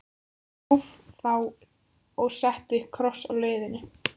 Ég gróf þá og setti kross á leiðið.